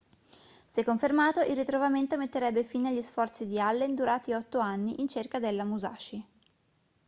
se confermato il ritrovamento metterebbe fine agli sforzi di allen durati otto anni in cerca della musashi